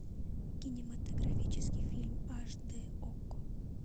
кинематографический фильм аш дэ окко